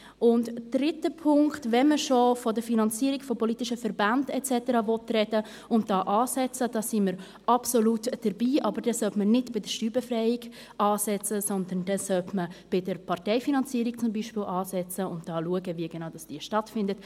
Zum dritten Punkt: Wenn man von der Finanzierung politischer Verbände et cetera sprechen und dort ansetzen will, sind wir absolut dabei, aber dann sollte man nicht bei der Steuerbefreiung ansetzen, sondern zum Beispiel bei der Parteifinanzierung, und schauen, wie genau diese stattfindet.